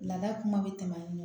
Laada kuma bɛ tɛmɛ